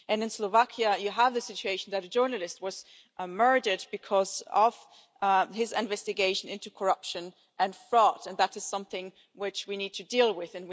In Slovakia you have the situation where a journalist was murdered because of his investigation into corruption and fraud, and that is something which we need to deal with.